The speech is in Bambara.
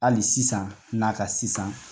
Hali sisan n'a ka sisan